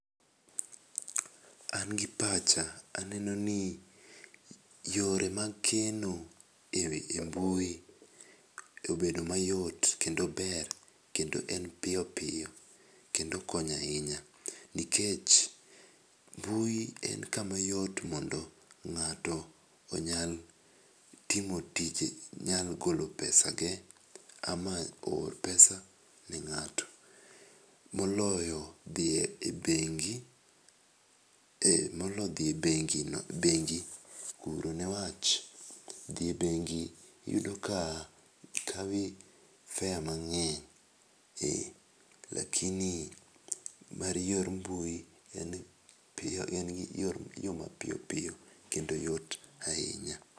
An gi picha aneno ni weche mag keno e mbui obedo mayot kendo ber kendo en piyo piyo kendo konyo ahinya nikech mbui en ka yot mondo nga'to onyal timo tij nyalo golo pesa ge ama oor pesa ne ngato mo olo dhi e bengi moloyo dhi e bengi ne wach dhi e bengi iyudo ka kawi fare mangey lakini mar yor mbui en gi ma ioro piyo piyo kendo yot ahinya.